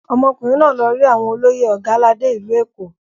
Ọmọkùnrin náà lọ rí àwọn olóyè Ọ̀gàládé ìlú Èkó.